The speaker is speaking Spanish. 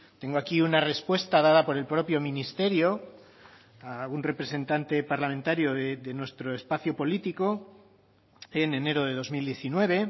tengo aquí una respuesta dada por el propio ministerio a algún representante parlamentario de nuestro espacio político en enero de dos mil diecinueve